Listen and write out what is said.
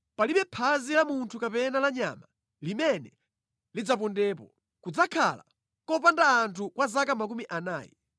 Palibe phazi la munthu kapena la nyama limene lidzapondepo. Kudzakhala kopanda anthu kwa zaka makumi anayi.